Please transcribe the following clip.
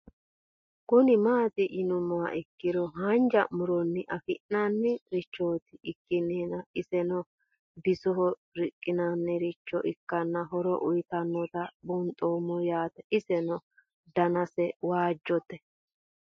Kuni mati yinumoha ikiro hanja muroni afina'ni richot ikana iseno bisoho riqinanirich ikana horo uyitanotano bunxeemo yaate iseno danase waajote